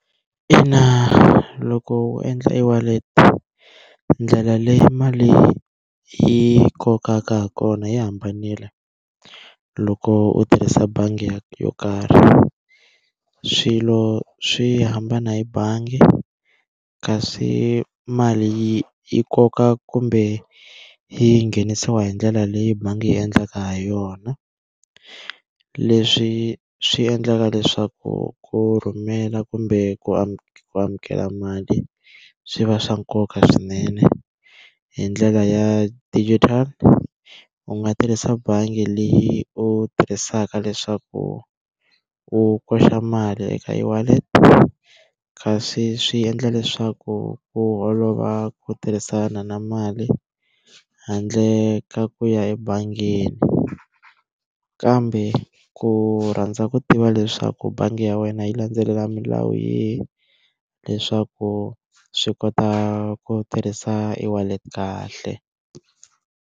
Ina loko u endla e-wallet ndlela leyi mali yi kokaka ha kona yi hambanile, loko u tirhisa bangi yo karhi. Swilo swi hambana hi bangi, kasi mali yi yi koka kumbe yi nghenisiwa hi ndlela leyi bangi yi endlaka ha yona. Leswi swi endlaka leswaku ku rhumela kumbe ku ku amukela mali swi va swa nkoka swinene hi ndlela ya digital, u nga tirhisa bangi leyi u tirhisaka leswaku u koxa mali eka e-wallet. Kasi swi endla leswaku ku olova ku tirhisana na mali handle ka ku ya ebangini. Kambe ku rhandza ku tiva leswaku bangi ya wena yi landzelela milawu yihi leswaku swi kota ku tirhisa e-wallet kahle.